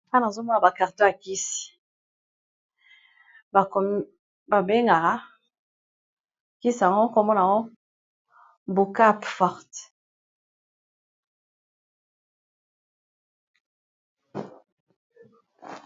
wana azomona ba karto ya kisi babengaka kisango komona no bukap forte